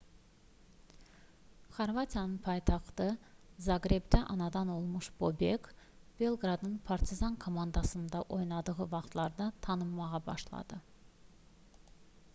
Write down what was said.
xorvatiyanın paytaxtı zaqrebdə anadan olmuş bobek belqradın partizan komandasında oynadığı vaxtlarda tanınmağa başladı